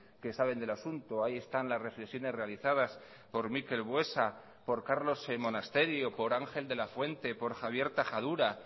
que saben del asunto ahí están las reflexiones realizadas por mikel buesa por carlos monasterio por ángel de la fuente por javier tajadura